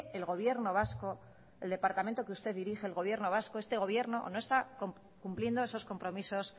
el gobierno vasco el departamento que usted dirige el gobierno vasco este gobierno no está cumpliendo esos compromisos